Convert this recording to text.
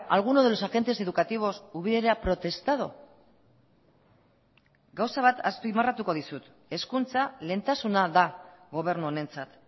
alguno de los agentes educativos hubiera protestado gauza bat azpimarratuko dizut hezkuntza lehentasuna da gobernu honentzat